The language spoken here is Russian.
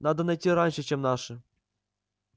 надо найти раньше чем наши